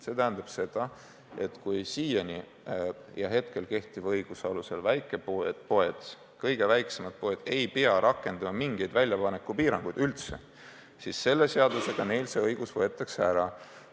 See tähendab seda, et kui siiani ja kehtiva õiguse alusel väikepoed, st kõige väiksemad poed ei pea rakendama üldse mingeid väljapaneku piiranguid, siis selle seadusega neilt see õigus võetaks ära.